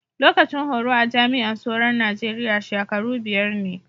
Lokacin horo a jami'an soro'n Nijeriya shakaru biyar ne.